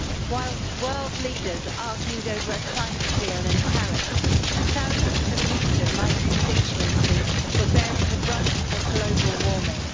Whilst world leaders argued over a climate deal in Paris, thousands of people in my constituency were bearing the brunt of global warming.